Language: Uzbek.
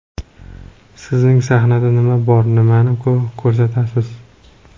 Sizning sahnada nima bor, nimani ko‘rsatasiz?